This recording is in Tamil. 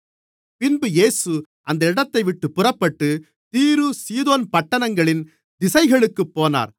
பின்பு இயேசு அந்த இடத்தைவிட்டுப் புறப்பட்டு தீரு சீதோன் பட்டணங்களின் திசைகளுக்குப் போனார்